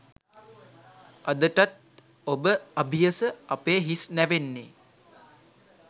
අදටත් ඔබ අභියස අපේ හිස් නැවෙන්නේ